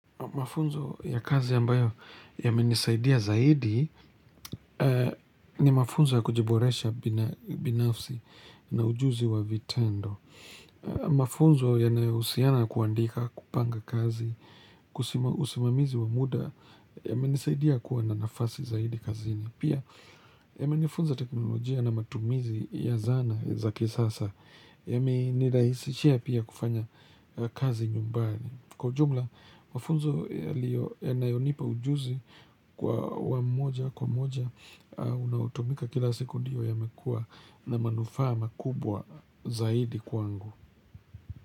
Mafunzo ya kazi ambayo yamenisaidia zaidi ni mafunzo ya kujiboresha binafsi na ujuzi wa vitendo. Mafunzo yanayohusiana kuandika kupanga kazi, usimamizi wa muda yamenisaidia kuwa na nafasi zaidi kazini. Pia yamenifunza teknolojia na matumizi ya zana za kisasa yameniraisishia pia kufanya kazi nyumbani. Kwa ujumla, mafunzo yanayonipa ujuzi kwa wa moja kwa moja unaotumika kila sekunde yamekuwa na manufaa makubwa zaidi kwangu.